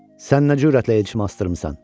Sən nə cürətlə elçiyə əl çıxartdırmısan?